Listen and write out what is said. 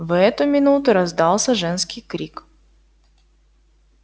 в эту минуту раздался женский крик